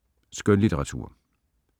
Skønlitteratur